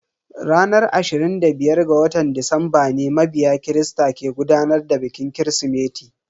Ranar ashirin da biyar ga watan Disamba ne mabiya christa ke gudanar da bikin kirismeti.